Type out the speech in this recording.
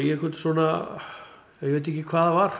einhvern svona ég veit ekki hvað það var